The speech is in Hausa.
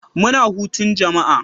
Muna hutun jama'a.